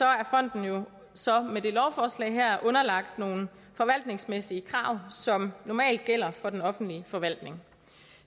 er fonden jo så med det her lovforslag underlagt nogle forvaltningsmæssige krav som normalt gælder for den offentlige forvaltning